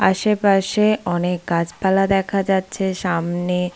আশেপাশে অনেক গাছপালা দেখা যাচ্ছে। সামনে--